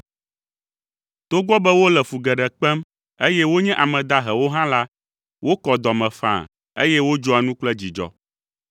Togbɔ be wole fu geɖe kpem, eye wonye ame dahewo hã la, wokɔ dɔ me faa, eye wodzɔa nu kple dzidzɔ.